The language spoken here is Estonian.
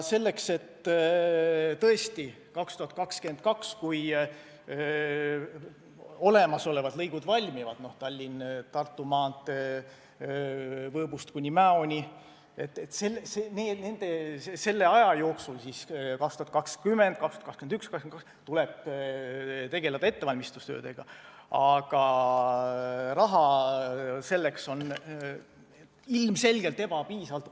Sel ajal kui olemasolevad lõigud, sh Tallinna–Tartu maantee Võõbust kuni Mäoni, valmivad – aastad 2020, 2021, 2022 –, tuleb teha ettevalmistustöid, aga raha selleks on ilmselgelt ebapiisavalt.